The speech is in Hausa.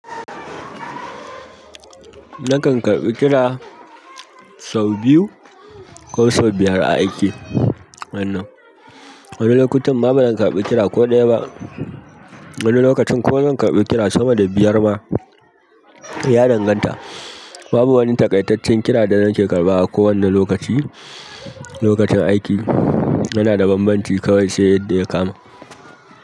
Nakan karɓi kira sau biyu ko sau biyar a aiki wannan. Wani lokutan ma ba zan karɓi kira ko ɗaya ba. Wani lokacin kuma zan karɓi kira sama da biyar ma, kai ya danganta. Babu wani takaitaccen kira da nake karɓa a ko wane lokaci. Lokacin aiki, yana da bambanci kawai sai yadda ya kama.